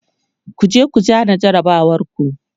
kujeku zana jarabawar ku!